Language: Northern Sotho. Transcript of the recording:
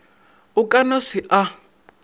o ka no se a